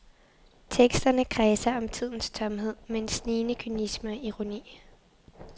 Teksterne kredser om tidens tomhed med en snigende kynisme og ironi.